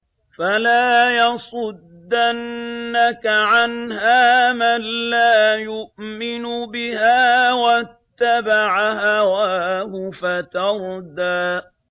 فَلَا يَصُدَّنَّكَ عَنْهَا مَن لَّا يُؤْمِنُ بِهَا وَاتَّبَعَ هَوَاهُ فَتَرْدَىٰ